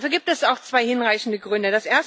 Dafür gibt es auch zwei hinreichende Gründe.